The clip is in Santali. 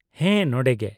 -ᱦᱮᱸ, ᱱᱚᱰᱮᱜᱮ ᱾